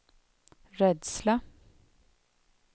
rädsla